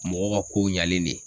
Mɔgɔ ka ko ɲɛlen de ye.